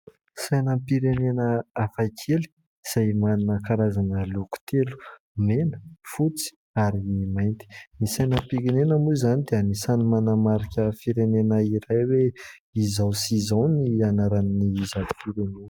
Sainam-pirenena hafakely izay manana karazana loko telo : mena, fotsy ary mainty. Ny sainam-pirenena moa izany dia anisany manamarika firenena iray hoe izao sy izao ny anaran'izato firenena.